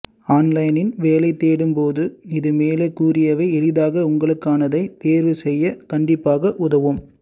ஆன்லைனில் வேலை தேடும் போதும் இது மேலே கூறியவை எளிதாக உங்களுக்கானதை தேர்வு செய்யக் கண்டிப்பாக உதவும்